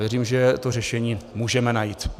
Věřím, že to řešení můžeme najít.